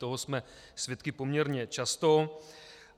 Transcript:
Toho jsme svědky poměrně často.